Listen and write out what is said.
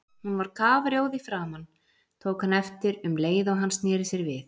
Hún var kafrjóð í framan, tók hann eftir um leið og hann sneri sér við.